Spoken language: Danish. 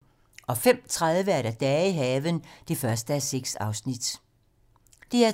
DR2